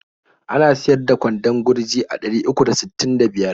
Ana siyar da kwandon gurji a ɗari uku da sittin da biyar.